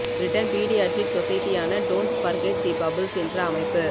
Britain paediatric சொசைட்டியான don't forget the bubbles என்ற அமைப்பு